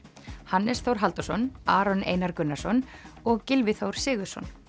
Hannes Þór Halldórsson Aron Einar Gunnarsson og Gylfi Þór Sigurðsson